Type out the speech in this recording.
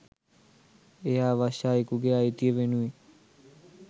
එය අවශ්‍ය අයෙකුගේ අයිතිය වෙනුවෙන්